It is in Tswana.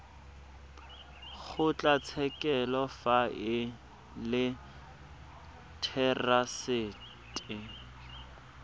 kgotlatshekelo fa e le therasete